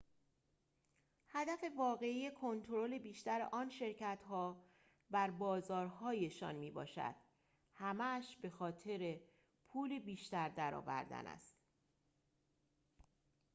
هدف واقعی کنترل بیشتر آن شرکت‌ها بر بازارهایشان می‌باشد همه‌اش بخاطر پول بیشتر درآوردن است